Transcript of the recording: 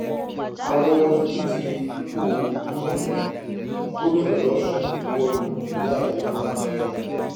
àwọn olùdíje fúnpọ̀ gómìnà gómìnà losùn buwọ́ lu ìwé àdéhùn àlàáfíà